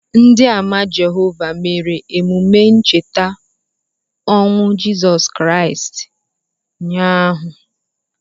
Ndị Àmà Jehovah mere emume ncheta ọnwụ Jizọs Kraịst ụnyaahụ.